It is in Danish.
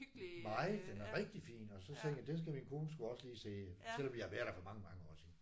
Meget den er rigtig fin. Og så tænkte jeg den skal min kone sgu også lige se. Selvom vi har været der for mange mange år siden